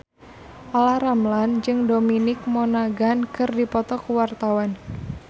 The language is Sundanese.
Olla Ramlan jeung Dominic Monaghan keur dipoto ku wartawan